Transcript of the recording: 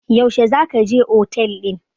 Yaushe za ka je otel ɗin?